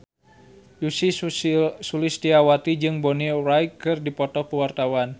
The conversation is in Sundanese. Ussy Sulistyawati jeung Bonnie Wright keur dipoto ku wartawan